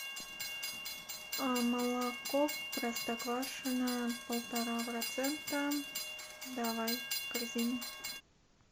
молоко простоквашино полтора процента давай в корзину